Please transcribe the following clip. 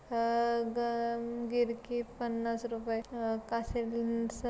अह ग-गिरकी पन्नास रुपऐ अह